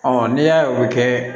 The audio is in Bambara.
n'i y'a ye o bɛ kɛ